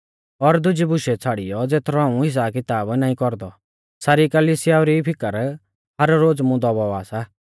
और दुजी बुशेऊ छ़ाड़ियौ ज़ेथरौ हाऊं हिसाबकिताब नाईं कौरदौ सारी कलिसियाऊ री फिकर हर रोज़ मुं दबावा सा